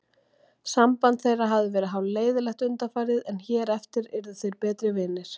Samband þeirra hafði verið hálfleiðinlegt undanfarið en hér eftir yrðu þeir betri vinir.